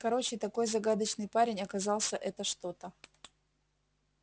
короче такой загадочный парень оказался это что-то